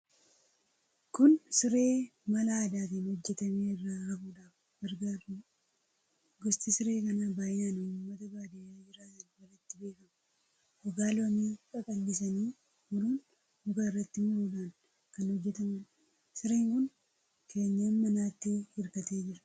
Kun siree mala aadaatiin hojjetamee irra rafuudhaaf gargaaruudha. Gosti siree kanaa baay'inaan uummata baadiyyaa jiraatan biratti beekama. Gogaa loonii qaqal'isanii muruun, muka irratti maruudhaan kan hojjetamuudha. Sireen kun keenyan manaatti hirkatee jira.